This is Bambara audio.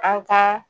An ka